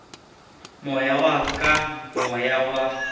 moya wa ka moya wa